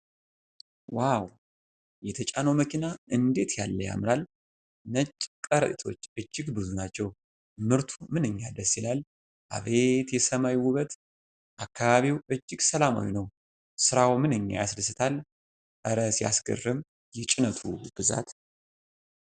ዋው! የተጫነው መኪና እንዴት ያለ ያምራል! ነጭ ከረጢቶቹ እጅግ ብዙ ናቸው። ምርቱ ምንኛ ደስ ይላል! አቤት የሰማዩ ውበት! አካባቢው እጅግ ሰላማዊ ነው። ሥራው ምንኛ ያስደስታል። እረ ሲያስገርም የጭነቱ ብዛት!